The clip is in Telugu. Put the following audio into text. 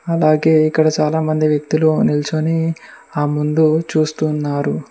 అలాగే ఇక్కడ చాలామంది వ్యక్తులు నిల్చొని ఆ ముందు చూస్తున్నారు.